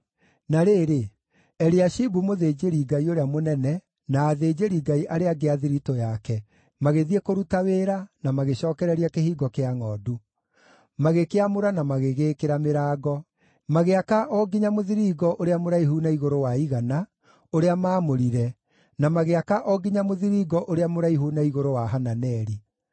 Na rĩrĩ, Eliashibu mũthĩnjĩri-Ngai ũrĩa mũnene na athĩnjĩri-Ngai arĩa angĩ a thiritũ yake, magĩthiĩ kũruta wĩra, na magĩcookereria Kĩhingo kĩa Ngʼondu. Magĩkĩamũra na magĩgĩĩkĩra mĩrango. Magĩaka o nginya Mũthiringo ũrĩa mũraihu na igũrũ wa Igana, ũrĩa maamũrire, na magĩaka o nginya Mũthiringo ũrĩa mũraihu na igũrũ wa Hananeli.